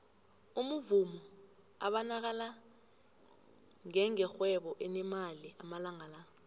umuvumo ubanakala ngenge rhwebo elinemali amalanga la